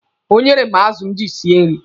O nyere m azụ m ji esi nri.